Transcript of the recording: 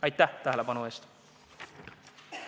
Aitäh tähelepanu eest!